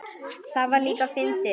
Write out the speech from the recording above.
Það var líka fyndið.